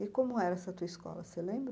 E como era essa tua escola, você lembra?